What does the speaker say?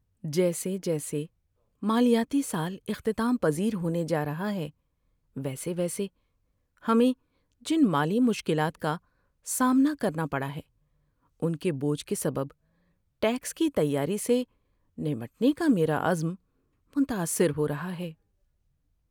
جیسے جیسے مالیاتی سال اختتام پذیر ہونے جا رہا ہے، ویسے ویسے ہمیں جن مالی مشکلات کا سامنا کرنا پڑا ہے ان کے بوجھ کے سبب ٹیکس کی تیاری سے نمٹنے کا میرا عزم متاثر ہو رہا ہے۔